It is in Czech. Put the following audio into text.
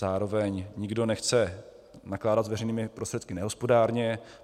Zároveň nikdo nechce nakládat s veřejnými prostředky nehospodárně.